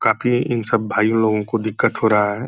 काफी इन सब भाई लोगों को दिक्कत हो रहा है।